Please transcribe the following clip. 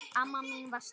Amma mín var sterk.